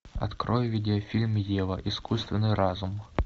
открой видеофильм ева искусственный разум